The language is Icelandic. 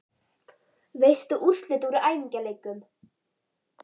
Veistu úrslit úr æfingaleikjum?